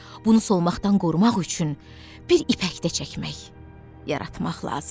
Bunu solmaqdan qorumaq üçün bir ipək də çəkmək, yaratmaq lazımdır.